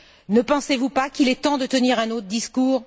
Ne pensez vous pas qu'il est temps de tenir un autre discours?